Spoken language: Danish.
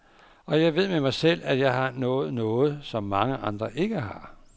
Og jeg ved med mig selv, at jeg har nået noget, som mange andre ikke har.